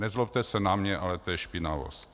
Nezlobte se na mě, ale to je špinavost.